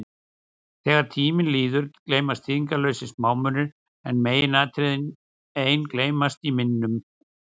Þegar tími líður, gleymast þýðingarlausir smámunir, en meginatriðin ein geymast í minnum.